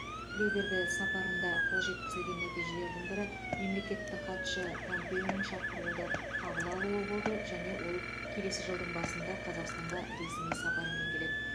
тілеуберді сапарында қол жеткізілген нәтижелердің бірі мемлекеттік хатшы помпеоның шақыруды қабыл алуы болды және ол келесі жылдың басында қазақстанға ресми сапармен келеді